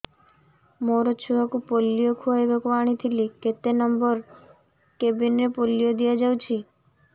ମୋର ଛୁଆକୁ ପୋଲିଓ ଖୁଆଇବାକୁ ଆଣିଥିଲି କେତେ ନମ୍ବର କେବିନ ରେ ପୋଲିଓ ଦିଆଯାଉଛି